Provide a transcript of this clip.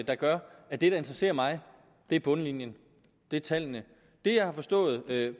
der gør at det der interesserer mig er bundlinjen det er tallene det jeg har forstået